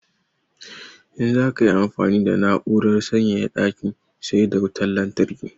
In za ka yi amfani da na'urar sanyaya daki sai da wutan lantarki.